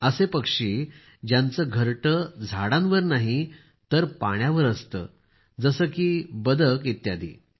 असे पक्षी ज्यांचे घरटे झाडांवर नाही तर पाण्यावर आहेत जसे बदके इत्यादी